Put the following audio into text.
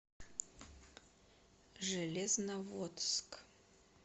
железноводск